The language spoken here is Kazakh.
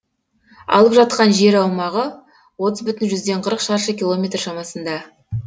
алып жатқан жер аумағы отыз бүтін жүзден қырық шаршы километр шамасында